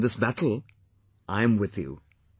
But in this battle, I'm with you